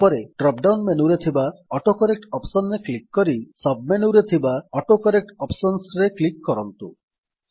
ତାପରେ drop down ମେନୁରେ ଥିବା ଅଟୋକରେକ୍ଟ ଅପ୍ସନ୍ ରେ କ୍ଲିକ୍ କରି ସବ୍ ମେନୁରେ ଥିବା ଅଟୋକରେକ୍ଟ Optionsରେ କ୍ଲିକ୍ କରନ୍ତୁ